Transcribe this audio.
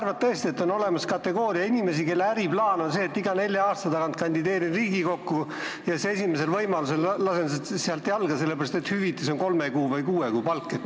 Või sa arvad tõesti, et on olemas kategooria inimesi, kelle äriplaan on see, et iga nelja aasta tagant kandideerida Riigikokku ja siis esimesel võimalusel lasta sealt jalga, sellepärast et hüvitis on kolme või kuue kuu palk?